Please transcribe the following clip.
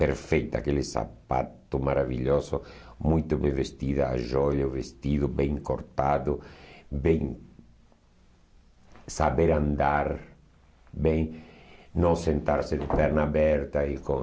Perfeita, aquele sapato maravilhoso, muito bem vestida, a joia, o vestido bem cortado, bem saber andar, bem não sentar-se de perna aberta e com...